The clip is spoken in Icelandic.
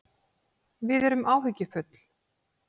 Við erum áhyggjufull